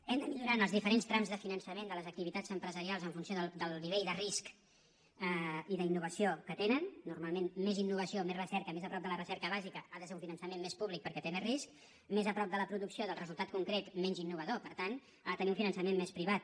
hem de millorar en els diferents trams de finançament de les activitats empresarials en funció del nivell de risc i d’innovació que tenen normalment més innovació més recerca més a prop de la recerca bàsica ha de ser un finançament més públic perquè té més risc més a prop de la producció del resultat concret menys innovador per tant ha de tenir un finançament més privat